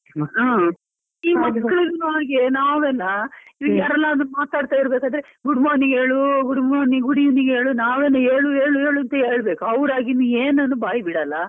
ಹಾ, ಈ ಮಕ್ಕಳನ್ನು ಹಾಗೆ ನಾವೆಲ್ಲಾ ಮಾತಾಡ್ತಾ ಇರಬೇಕಾದ್ರೆ good morning ಹೇಳು good morning, good evening ಹೇಳು ನಾವೇ ಹೇಳು ಹೇಳು ಹೇಳು ಅಂತ ಹೇಳ್ಬೇಕು ಅವರಾಗಿ ಏನನ್ನು ಬಾಯಿ ಬಿಡಲ್ಲ.